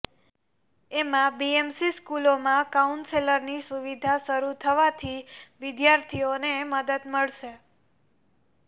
એમાં બીએમસી સ્કૂલોમાં કાઉન્સેલરની સુવિધા શરૂ થવાથી વિદ્યાર્થીઓને મદદ મળશે